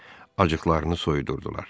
Acıqlarını soyudurdular.